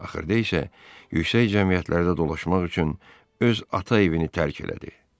Axırda isə yüksək cəmiyyətlərdə dolaşmaq üçün öz ata evini tərk elədi.